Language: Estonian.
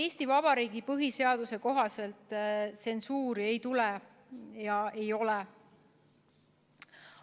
Eesti Vabariigi põhiseaduse kohaselt tsensuuri ei ole ja ei tule.